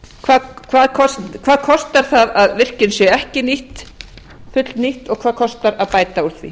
væri eflt annað hvað kostar að virkjun sé ekki fullnýtt og hvað kostar að bæta úr því